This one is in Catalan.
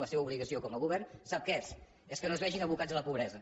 la seva obligació com a govern sap què és és que no es vegin abocats a la pobresa